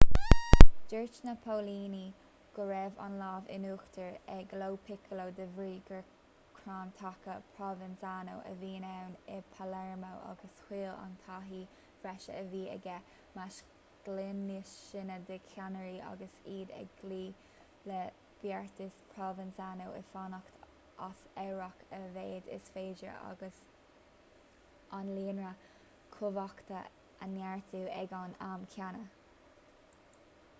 dúirt na póilíní go raibh an lámh in uachtar ag lo piccolo de bhrí gur crann taca provenzano a bhí ann i palermo agus thuill an taithí bhreise a bhí aige meas ghlúin níos sine de cheannairí agus iad ag cloí le beartas provenzano fanacht as amharc a mhéad is féidir agus an líonra cumhachta a neartú ag an am céanna